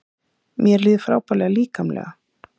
Mér líður frábærlega líkamlega